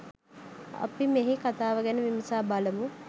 අපි මෙහි කතාව ගැන විමසා බලමු.